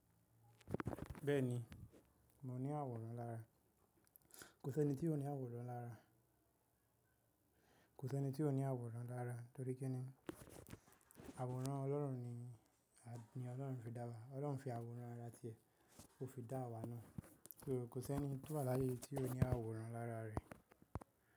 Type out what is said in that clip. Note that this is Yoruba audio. Bẹ́ẹ̀ni, mo ní àwòrán lára. Kò sí ẹni tí ò ní àwòrán lára. Kò sí ẹni tí ò ní àwòrán lára, torí kí ni àwòrán Ọlọ́run ni, ni Ọlọ́run fi dá wa. Ọlọ́run fi àwòrán ara rẹ̀ tí ẹ, ó fi dá awa ná. So kò sí ẹni tó wà láyé tí ò ní àwòrán lára rẹ̀